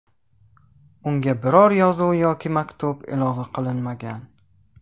Unga biror yozuv yoki maktub ilova qilinmagan.